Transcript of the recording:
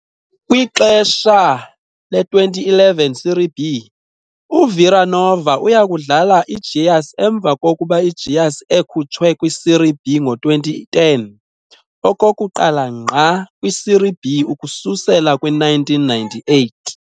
Kwixesha le-2011 Serie B, uVila Nova uya kudlala iGoias, emva kokuba uGoias ekhutshwe kwi-Serie B ngo-2010, okokuqala ngqa kwi-Serie B ukususela kwi-1998.